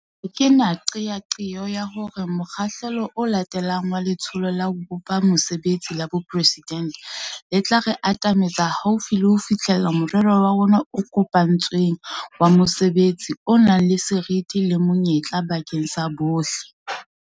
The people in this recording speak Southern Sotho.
Ha ke na qeaqeo ya hore mokgahlelo o latelang wa Letsholo la ho Bopa Mesebetsi la Boporesidente le tla re atametsa haufi le ho fihlella morero wa rona o kopane tsweng wa mosebetsi o nang le seriti le monyetla bakeng sa bohle.